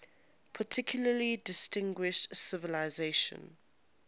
particularly distinguished civilization